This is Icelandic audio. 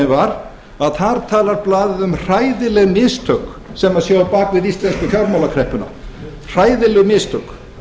var að þar talar blaðið um hræðileg mistök sem séu á bak við íslensku fjármálakreppuna hræðileg mistök